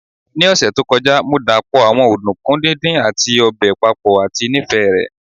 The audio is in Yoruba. Ni ọsẹ to kọja, Mo dapọ awọn ọdunkun didin ati obe papọ ati nifẹ rẹ